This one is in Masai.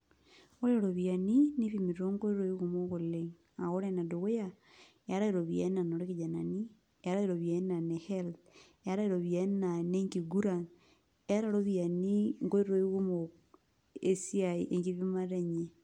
Ore iropiyiani, nipimi tonkoitoii kumok oleng. Ore enedukuya, eetae iropiyiani naa inoo kijanani, eetae iropiyiani naa ne health, eetae iropiyiani naa ine nkiguran, eeta ropiyiani inkoitoii kumok esiai enkipimata enye.